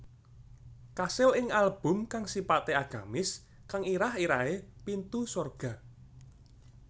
Kasil ing album kang sipate agamis kang irah irahe Pintu Sorga